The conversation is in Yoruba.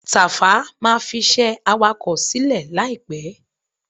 Tàfá máa fiṣẹ́ awakọ̀ sílẹ̀ láìpẹ́.